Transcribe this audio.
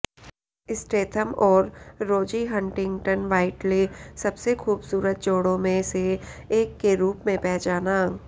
Statham और Rosie Huntington Whiteley सबसे खूबसूरत जोड़ों में से एक के रूप में पहचाना